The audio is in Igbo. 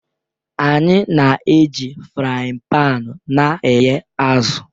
Anyị na-eji fry paani na-e ye azụ